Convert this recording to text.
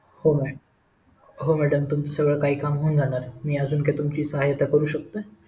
हो हो madam तुमच सगळं काही काम होऊन जाणार मी अजून काय तुमची सहाय्यता करू शकतोय?